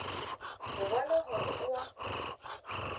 go bona gore o a